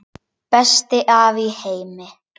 Besti afi í heimi.